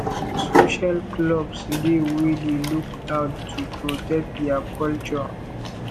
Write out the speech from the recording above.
social clubs dey wey dey look out to protect their culture